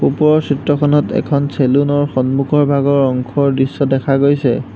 ওপৰৰ চিত্ৰখনত এখন চেলুন ৰ সন্মুখৰ ভাগৰ অংশৰ দৃশ্য দেখা গৈছে।